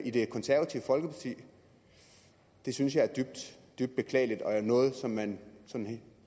i det konservative folkeparti det synes jeg er dybt dybt beklageligt og noget som man